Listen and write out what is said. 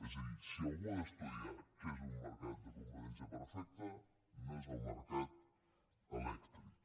és a dir si algú ha d’estudiar què és un mercat de competència perfecta no és el mercat elèctric